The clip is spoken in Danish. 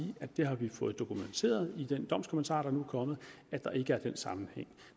at vi har fået dokumenteret i den domskommentar der nu er kommet at der ikke er den sammenhæng